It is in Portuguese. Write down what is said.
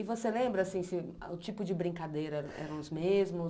E você lembra, assim, se o tipo de brincadeira eram os mesmos?